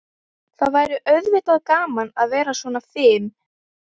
Það væri auðvitað gaman að vera svona fim.